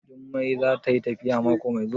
Jummai za tayi tafiya mako mai zuwa?